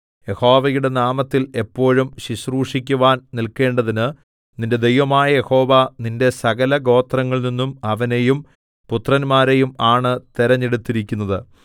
യഹോവയുടെ നാമത്തിൽ എപ്പോഴും ശുശ്രൂഷിക്കുവാൻ നില്ക്കേണ്ടതിന് നിന്റെ ദൈവമായ യഹോവ നിന്റെ സകലഗോത്രങ്ങളിൽനിന്നും അവനെയും പുത്രന്മാരെയും ആണ് തിരഞ്ഞെടുത്തിരിക്കുന്നത്